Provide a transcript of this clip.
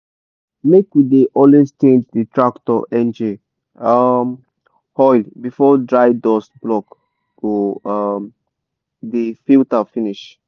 make we dey always change d tractor engine um oil before dry dust block go um di filter finish.